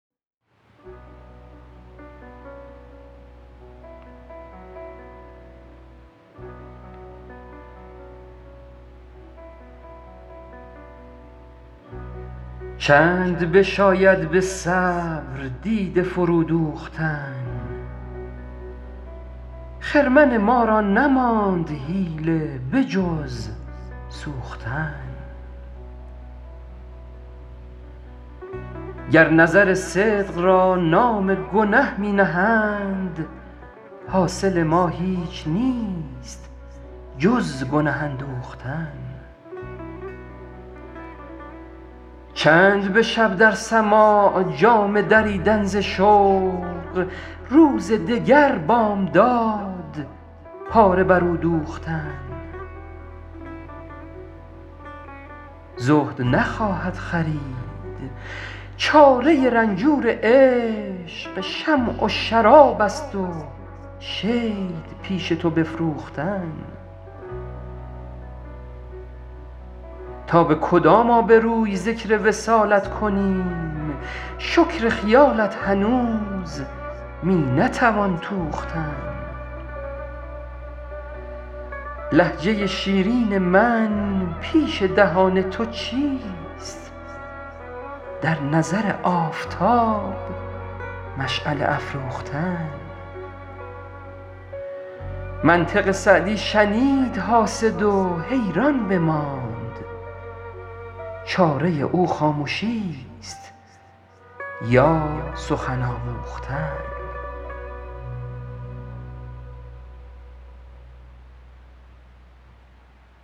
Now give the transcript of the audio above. چند بشاید به صبر دیده فرو دوختن خرمن ما را نماند حیله به جز سوختن گر نظر صدق را نام گنه می نهند حاصل ما هیچ نیست جز گنه اندوختن چند به شب در سماع جامه دریدن ز شوق روز دگر بامداد پاره بر او دوختن زهد نخواهد خرید چاره رنجور عشق شمع و شراب است و شید پیش تو نفروختن تا به کدام آبروی ذکر وصالت کنیم شکر خیالت هنوز می نتوان توختن لهجه شیرین من پیش دهان تو چیست در نظر آفتاب مشعله افروختن منطق سعدی شنید حاسد و حیران بماند چاره او خامشیست یا سخن آموختن